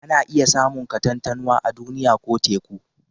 Ana iya samun katantanwa a Duniya ko Teku